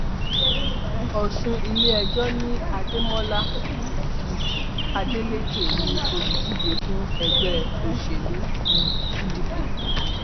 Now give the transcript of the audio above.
ọsùn iléẹjọ ní adémọlá um adeleke ní olùdíje fún ẹgbẹ òṣèlú um pdp